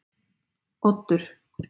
Oddur